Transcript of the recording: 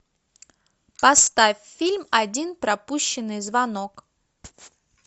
поставь фильм один пропущенный звонок